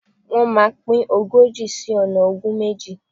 Wọ́́n máa pín ogójì sí ọ̀nà ogún méjì.